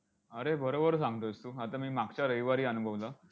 अरे बरोबर सांगतोयस तू. आता मी मागच्या रविवारी अनुभवलं.